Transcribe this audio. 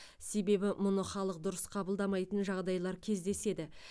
себебі мұны халық дұрыс қабылдамайтын жағдайлар кездеседі